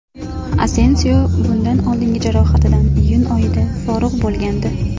Asensio bundan oldingi jarohatidan iyun oyida forig‘ bo‘lgandi.